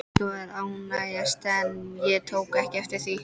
Líkaminn var að ánetjast en ég tók ekki eftir því.